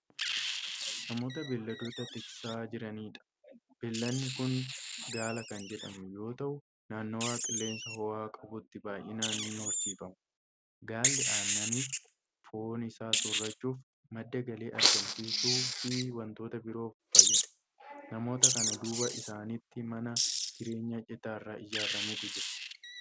Namoota beeyladoota tiksaa jiraniidha. beelladni Kuni gaala Kan jedhamu yoota'u naannawa qilleensa hoo'aa qabutti baay'inaan ni horsiifama. gaalli annaniif, foon Isaa soorachuuf, madda galii argamsiisuufi wantoota biroof fayyada. namoota kana duuba isaanitti mana jireenyaa citaarraa ijaarramutu Jira.